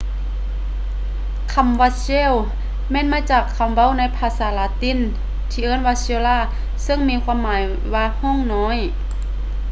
ຄຳວ່າ cell ແມ່ນມາຈາກຄຳເວົ້າໃນພາສາລາຕິນທີ່ວ່າ cella ຊຶ່ງມີຄວາມໝາຍວ່າຫ້ອງນ້ອຍ